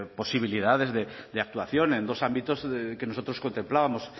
posibilidades de actuación en dos ámbitos que nosotros contemplábamos